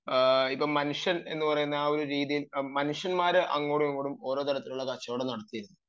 മനുഷ്യൻ എന്ന രീതി ഈ മനുഷ്യന്മാർ അങ്ങോട്ടും ഇങ്ങോട്ടും കച്ചവടം നടത്തിയുണ്ട്